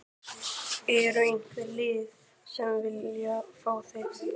Er einhver lið sem að vilja fá þig?